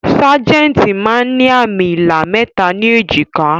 Sajẹ́ntí máa ń ní àmì ilà mẹta ni èjìká